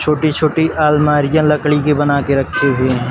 छोटी-छोटी आलमारियां लकड़ी की बना के रखी हुई हैं।